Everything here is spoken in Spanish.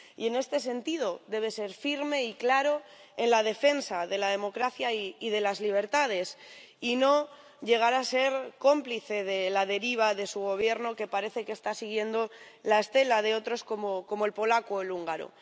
Y en este sentido, debe ser firme y claro en la defensa de la democracia y de las libertades y no llegar a ser cómplice de la deriva de su Gobierno, que parece que está siguiendo la estela de otros, como el polaco o el húngaro.